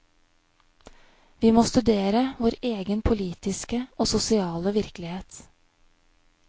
Vi må studere vår egen politiske og sosiale virkelighet.